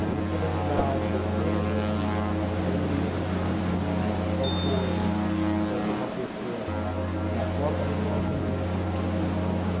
Aí eu trabalhei lá um bom tempo, aí fui, aí um com de de um faltou um, faltou uma pessoa na copa, aí ele falou, quem que a gente vamos